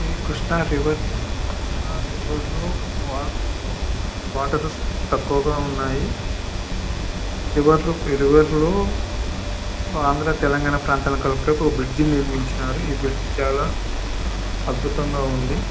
ఇది కృష్ణా రివర్ ఈ రివర్ లోని వాటర్ తక్కువగ ఉన్నాయి ఈ రివర్లు ఆంధ్ర తెలంగాణ కలపటానికి ఒక బ్రిడ్జి నిర్మించారు ఈ బ్రిడ్జి చాలా అద్భుతంగా ఉంది .